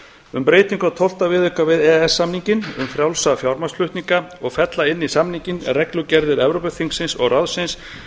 um breytingu á tólfta viðauka við e e s samninginn um frjálsa fjármagnsflutninga og fella inn í samninginn reglugerðir evrópuþingsins og ráðsins